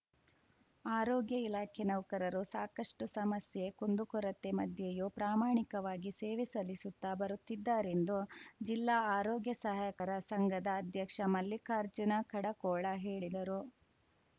ಆರೋಗ್ಯ ಇಲಾಖೆ ನೌಕರರು ಸಾಕಷ್ಟುಸಮಸ್ಯೆ ಕುಂದು ಕೊರತೆ ಮಧ್ಯೆಯೂ ಪ್ರಾಮಾಣಿಕವಾಗಿ ಸೇವೆ ಸಲ್ಲಿಸುತ್ತಾ ಬರುತ್ತಿದ್ದಾರೆಂದು ಜಿಲ್ಲಾ ಆರೋಗ್ಯ ಸಹಾಯಕರ ಸಂಘದ ಅಧ್ಯಕ್ಷ ಮಲ್ಲಿಕಾರ್ಜುನ ಕಡಕೋಳ ಹೇಳಿದರು